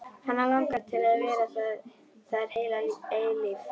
Hana langar til að vera þar heila eilífð.